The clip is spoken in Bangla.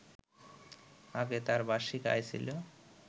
আগে তার বার্ষিক আয় ছিল